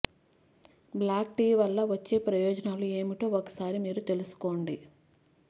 black tea వల్ల వచ్చే ప్రయోజనాలు ఏమిటో ఒకసారి మీరూ తెలుసుకోండి